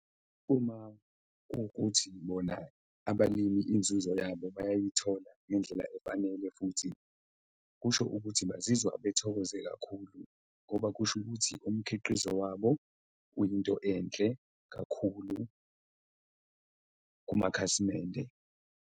Uma kuwukuthi bona abalimi inzuzo yabo bayayithola ngendlela efanele futhi, kusho ukuthi bazizwa bethokoze kakhulu ngoba kusho ukuthi umkhiqizo wabo uyinto enhle kakhulu kumakhasimende.